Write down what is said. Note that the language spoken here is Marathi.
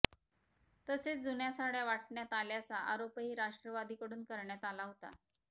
तसेच जुन्या साड्या वाटण्यात आल्याचा आराेपही राष्ट्रवादीकडून करण्यात आला हाेता